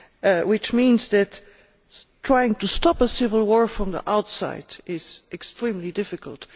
This means that trying to stop a civil war from the outside is extremely difficult.